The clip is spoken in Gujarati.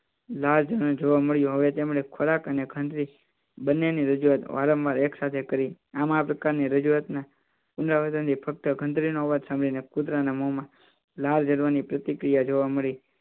લાજ અને જોવા મળ્યું હવે તેમણે ખોરાક અને ખંડરી બંનેની રજૂઆત વારંવાર એક સાથે કરી આમ આ પ્રકારની રજૂઆતના પુનરાવર્તન અવાજ સાંભળીને પ્રતિક્રિયા જોવા મળી